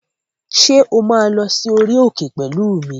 Ṣé o máa lọ sí orí òkè pẹ̀lú mi?